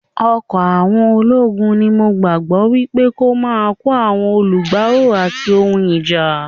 Ọkọ̀ àwọn ológun ni mo gbàgbọ́ wípé kó máa kó àwọn alugbàò ati ohun ìjà.